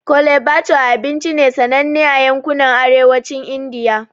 Chole bhature abinci ne sananne a yankunan Arewacin Indiya.